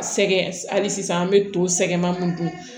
Sɛ hali sisan an bɛ to sɛgɛnba mun dun